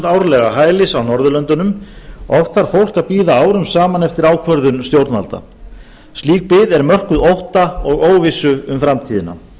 árlega hælis á norðurlöndunum oft þarf að bíða árum saman eftir ákvörðun stjórnvalda slík bið er mörkuð ótta og óvissu um framtíðina